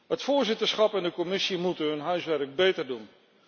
Het voorzitterschap en de Commissie moeten hun huiswerk beter doen.